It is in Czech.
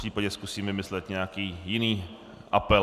Popřípadě zkusím vymyslet nějaký jiný apel.